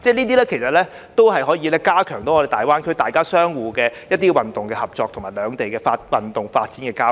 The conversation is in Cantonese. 這些活動也可以加強與大灣區的運動合作及兩地的運動發展和交流。